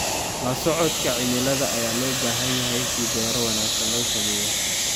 La socodka cimilada ayaa loo baahan yahay si beero wanagsan loo sameeyo.